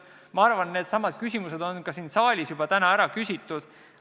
Ma arvan, et needsamad küsimused on ka siin saalis juba täna ära küsitud.